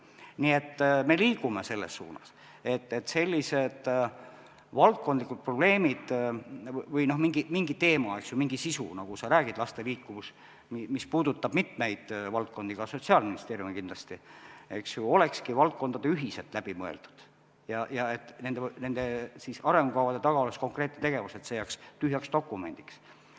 Nii et me liigume selles suunas, et sellised probleemid või mingid teemad , mis puudutavad mitmeid valdkondi, ka Sotsiaalministeeriumi, eks ju, olekski valdkondadel ühiselt läbi mõeldud ja et arengukavade taga oleks konkreetne tegevus, et see ei jääks tühjaks dokumendiks.